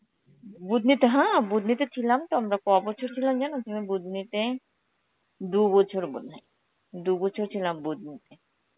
বুধ্নিতে হ্যাঁ, বুধ্নিতে ছিলাম তো আমরা, কবছর ছিলাম জানো তুমি বুধ্নিতে, দু’বছর বোধহয়, দু'বছর ছিলাম বুধ্নিতে.